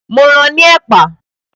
Mo ran ní ẹ̀pà